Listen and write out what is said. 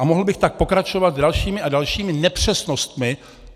A mohl bych tak pokračovat dalšími a dalšími nepřesnostmi.